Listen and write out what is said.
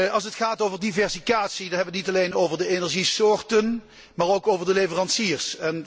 Als het gaat over diversificatie, dan hebben we het niet alleen over de energiesoorten, maar ook over de leveranciers.